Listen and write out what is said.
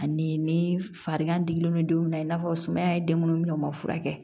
Ani ni farigan digilen don don min na i n'a fɔ sumaya ye den munnu minɛ u ma furakɛ